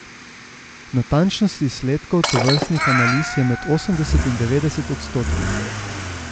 Natančnost izsledkov tovrstnih analiz je med osemdeset in devetdeset odstotki.